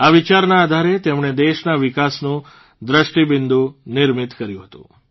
આ વિચારના આધારે તેમણે દેશના વિકાસનું દ્રષ્ટિબિંદુ નિર્મિત કર્યું હતું